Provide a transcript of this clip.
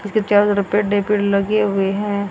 इसके चारों तरफ पेड़ ही पेड़ लगे हुए हैं।